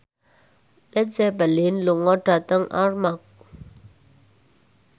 Led Zeppelin lunga dhateng Armargh